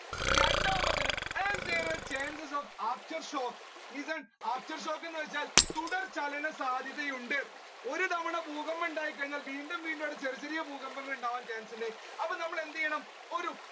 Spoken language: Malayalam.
രണ്ടാമത്തത് and there a chances of after shock listen after shock എന്നുവെച്ചാൽ തുടർചലന സാധ്യതയുണ്ട് ഒരു തവണ ഭൂകമ്പം ഉണ്ടായി കഴിഞ്ഞാൽ വീണ്ടും വീണ്ടും അവിടെ ചെറിയ ചെറിയ ഭൂകമ്പങ്ങൾ ഉണ്ടാവാൻ chance ഉണ്ട് അപ്പൊ നമ്മൾ എന്തെയ്യണം ഒരു